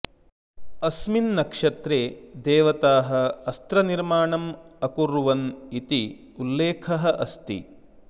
अस्मिन् नक्षत्रे देवताः अस्त्रनिर्माणम् अकुर्वन् इति उल्लेखः अस्ति